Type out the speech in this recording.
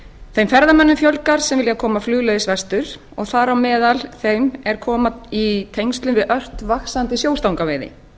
þeim ferðamönnum fjölgar sem vilja koma flugleiðis vestur og þar á meðal þeim er komast í tengsl við ört vaxandi sjóstangaveiði